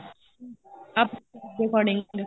ਆਪਣੇ according